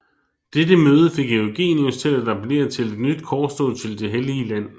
Dette møde fik Eugenius til appellere til et nyt korstog til det Hellige land